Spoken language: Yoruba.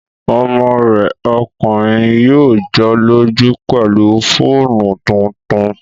Ọmọ rẹ̀ ọkùnrin yóò jọ́lọ́jú pẹ̀lú fóònù tuntun